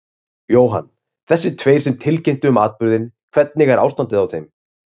Jóhann: Þessir tveir sem tilkynntu um atburðinn, hvernig er ástandið á þeim?